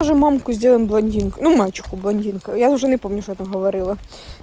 уже мамку сделаем блондинкой и мачеху блондинкой я уже не помню что я там говорила